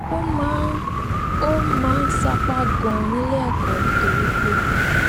ó máa ń ó máa ń sapá ganan níléẹkọ nítorí pé